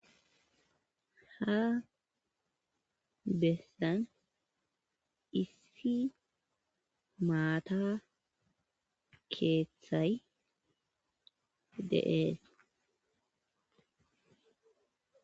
Ha bessan issi maata keeththay de'ees